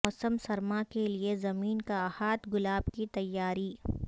موسم سرما کے لئے زمین کا احاطہ گلاب کی تیاری